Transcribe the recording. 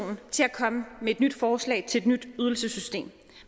komme med et nyt forslag til et nyt ydelsessystem